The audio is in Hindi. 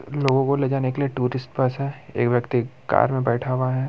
लोगो को लेजाने के लिए टूरिस्ट बस है एक व्यक्ति कार में बैठा हुआ है।